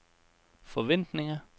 forventninger